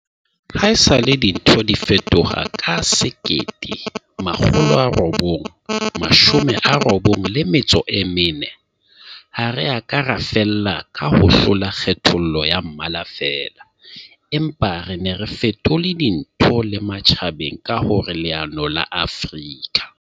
Haesale dintho di fetoha ka 1994, ha re a ka ra fella ka ho hlola kgethollo ya mmala feela, empa re ne re fetole dintho le matjhabeng ka hore leano la Afrika